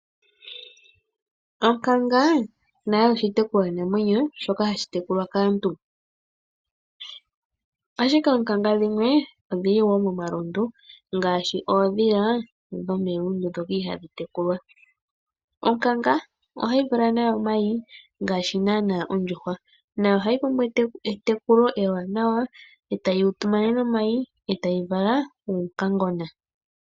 Onkanga nayo oshitekulwananwenyo shoka ha shi tekulwa kaantu. Ashike oonkanga dhimwe odhili wo momalundu, ngaashi oondhila dhomelundu ndhoka ihaa dhi tekulwa. Onkanga ohayi vala nayo omayi ngaashi naana oondjuhwa, nayo ohayi pumbwa etekulo ewaanawa eta yi tu monene omayi etayi tendula uunkangena.